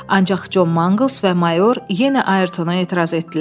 Ancaq Con Mangls və mayor yenə Ayrtona etiraz etdilər.